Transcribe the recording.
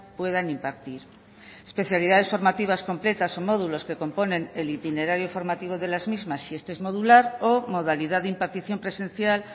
puedan impartir especialidades formativas completas o módulos que componen el itinerario formativo de las mismas si este es modular o modalidad de impartición presencial